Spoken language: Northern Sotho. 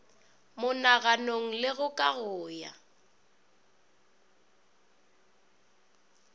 monaganong le go kago ya